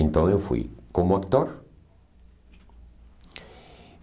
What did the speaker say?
Então eu fui como ator.